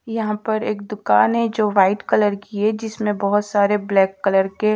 यहां पर एक दुकान है जो व्हाइट कलर की है जिसमें बहोत सारे ब्लैक कलर के--